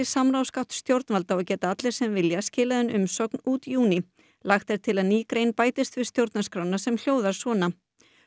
samráðsgátt stjórnvalda og geta allir sem vilja skilað inn umsögn út júní lagt er til að ný grein bætist við stjórnarskrána sem hljóðar svona